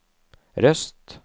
Røst